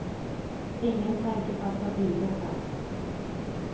Ingen tanke på att ta bilder fanns.